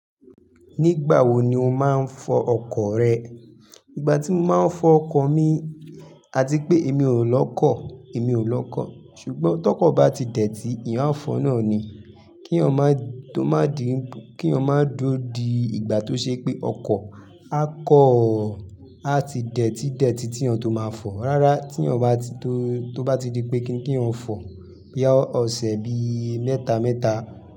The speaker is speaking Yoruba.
Nígbà wo ni o máa ń fọ ọkọ̀ rẹ? Ìgbà tí mo máa ń fọ ọkọ̀ mi, a ti pé èmi ò lọkọ̀, èmi ò lọkọ́. Ṣùgbọ́n tọkọ bà tí dẹ̀tì, èèyàn a fọ naà ni. Kí eeyan ma di ko maá di, kí eeyan máa duro di ìgbà tó ṣe pé ọkọ̀ a kan, a ti dẹ̀tì dẹ̀tì tí eeyàn tó máa fọ̀. Rárá tí eeyàn ba ti to to bá tí di pé kínni ki eeyan o fọ̀, boya ọ̀sẹ̀ bi mẹ́ta mẹ́ta.